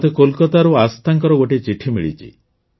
ମତେ କୋଲକାତାରୁ ଆସ୍ଥାଙ୍କର ଗୋଟିଏ ଚିଠି ମିଳିଛି